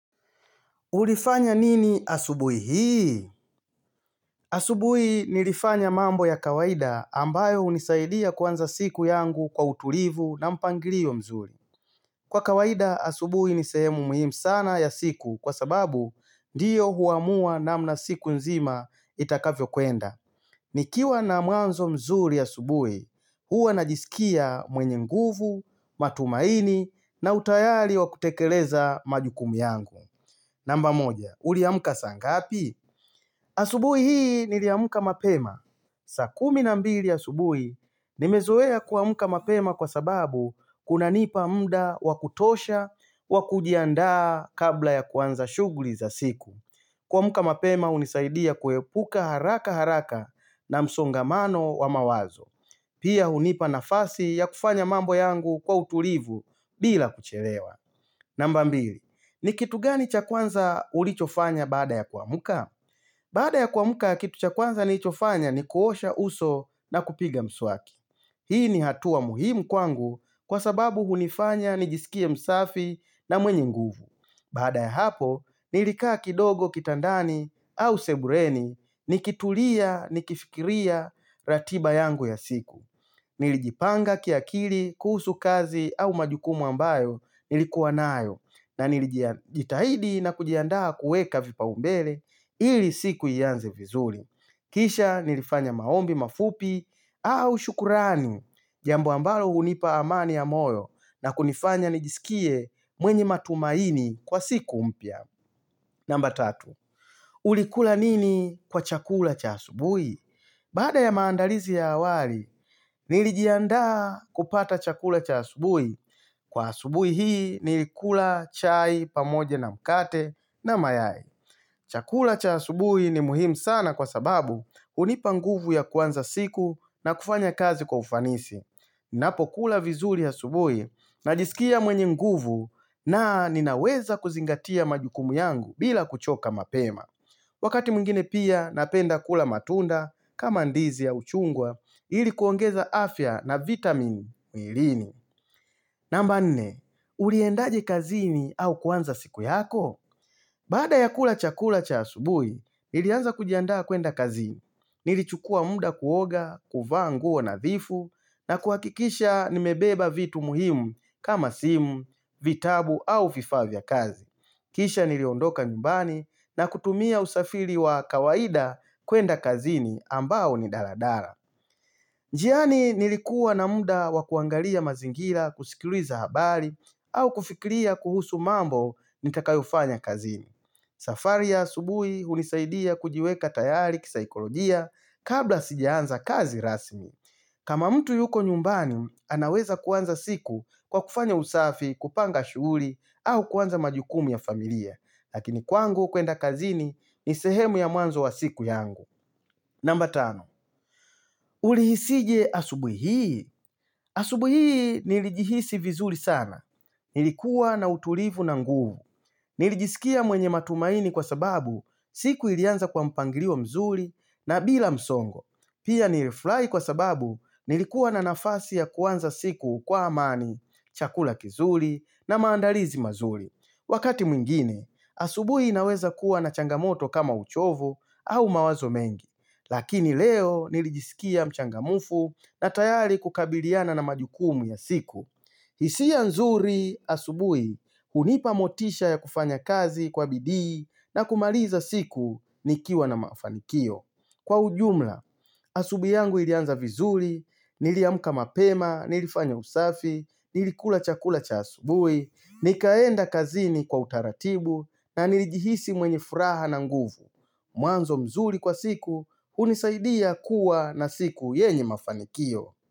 Ulifanya nini asubuhi hii? Asubuhi nilifanya mambo ya kawaida ambayo hunisaidia kuanza siku yangu kwa utulivu na mpangilio mzuri. Kwa kawaida asubuhi ni sehemu muhimu sana ya siku kwa sababu ndiyo huamua namna siku nzima itakavyo kwenda. Nikiwa na mwanzo mzuri asubuhi, huwa najisikia mwenye nguvu, matumaini na utayari wa kutekeleza majukumu yangu. Namba moja, uliamka saa ngapi? Asubuhi hii niliamka mapema. Saa kumi na mbili asubuhi, nimezoea kuamka mapema kwa sababu kunanipa mda wa kutosha wa kujiandaa kabla ya kuanza shughuli za siku. Kuamka mapema hunisaidia kuepuka haraka haraka na msongamano wa mawazo. Pia hunipa nafasi ya kufanya mambo yangu kwa utulivu bila kuchelewa. Namba mbili, ni kitu gani cha kwanza ulichofanya baada ya kuamka? Baada ya kuamka, kitu cha kwanza nilichofanya ni kuosha uso na kupiga mswaki. Hii ni hatua muhimu kwangu kwa sababu hunifanya nijisikie msafi na mwenye nguvu. Baada ya hapo, nilikaa kidogo, kitandani au sebuleni, nikitulia, nikifikiria ratiba yangu ya siku. Nilijipanga kiakili kuhusu kazi au majukumu ambayo nilikuwa nayo. Na nilijitahidi na kujiandaa kuweka vipaumbele ili siku ianze vizuri. Kisha nilifanya maombi mafupi au shukrani jambo ambalo hunipa amani ya moyo na kunifanya nijisikie mwenye matumaini kwa siku mpya. Namba tatu. Ulikula nini kwa chakula cha asubuhi? Baada ya maandalizi ya awali, nilijandaa kupata chakula cha asubuhi. Kwa asubuhi hii nilikula, chai, pamoja na mkate na mayai. Chakula cha asubuhi ni muhimu sana kwa sababu hunipa nguvu ya kuanza siku na kufanya kazi kwa ufanisi. Napokula vizuri ya asubuhi najisikia mwenye nguvu na ninaweza kuzingatia majukumu yangu bila kuchoka mapema. Wakati mwingine pia napenda kula matunda kama ndizi au chungwa ili kuongeza afya na vitamin mwilini. Namba nne, uliendaje kazini au kuanza siku yako? Baada ya kula chakula cha asubuhi, nilianza kujiandaa kwenda kazini. Nilichukua muda kuoga, kuvaa nguo nadhifu, na kuhakikisha nimebeba vitu muhimu kama simu, vitabu au vifaa vya kazi. Kisha niliondoka nyumbani na kutumia usafiri wa kawaida kwenda kazini ambao ni daladala. Njiani nilikuwa na muda wa kuangalia mazingira kusikiliza habari au kufikiria kuhusu mambo nitakayofanya kazini. Safari ya asubuhi hunisaidia kujiweka tayari kisaikolojia kabla sijaanza kazi rasmi. Kama mtu yuko nyumbani anaweza kuanza siku kwa kufanya usafi kupanga shughuli au kuanza majukumu ya familia. Lakini kwangu kwenda kazini ni sehemu ya muanzo wa siku yangu. Namba tano, ulihisije asubuhi hii? Asubuhi hii nilijihisi vizuri sana. Nilikuwa na utulivu na nguvu. Nilijisikia mwenye matumaini kwa sababu siku ilianza kwa mpangilio mzuri na bila msongo. Pia nilifurahi kwa sababu nilikuwa na nafasi ya kuanza siku kwa amani, chakula kizuri na maandalizi mazuri. Wakati mwingine, asubuhi inaweza kuwa na changamoto kama uchovo au mawazo mengi, lakini leo nilijisikia mchangamfu na tayari kukabiliana na majukumu ya siku. Hisia nzuri, asubuhi hunipa motisha ya kufanya kazi kwa bidii na kumaliza siku nikiwa na mafanikio. Kwa ujumla, asubuhi yangu ilianza vizuri, niliamka mapema, nilifanya usafi, nilikula chakula cha asubuhi, nikaenda kazini kwa utaratibu, na nilijihisi mwenye furaha na nguvu. Mwanzo mzuri kwa siku, hunisaidia kuwa na siku yenye mafanikio.